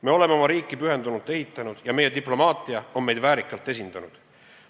Me oleme oma riiki pühendunult ehitanud ja meie diplomaatia on meid väärikalt esindanud.